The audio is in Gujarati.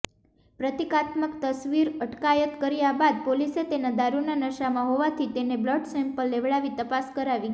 પ્રતિકાત્મક તસવીરઅટકાયત કર્યા બાદ પોલીસે તેના દારૂના નશામાં હોવાથી તેનો બ્લડ સેમ્પલ લેવડાવી તપાસ કરાવી